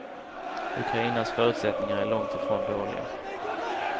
Ukrainas förutsättningar är långt ifrån dåliga.